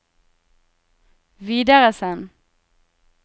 videresend